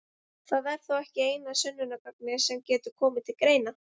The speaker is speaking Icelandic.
Það er þó ekki eina sönnunargagnið sem getur komið til greina.